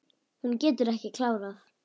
Hún getur ekki klárað.